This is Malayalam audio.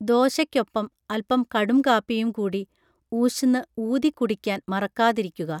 ദോശയ്ക്കൊപ്പം അൽപം കടുംകാപ്പിയും കൂടി ഊശ് ന്ന് ഊതി കുടിയ്കാൻ മറക്കാതിരിയ്കുക